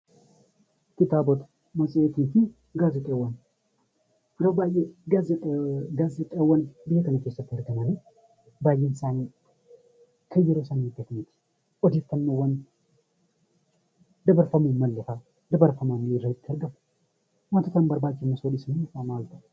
Kitaabot, matseetii fi gaazexaawwan. Yeroo baayyee gaazexxaawwan biyya kana keessatti argaman kan yeroo isaanii eeggatan miti. Odeeffannoowwan dabarfamuu hin mallee fa'aa irratti dabarfamanii argamu. Wantoota hin barbaachifnes irratti argamu.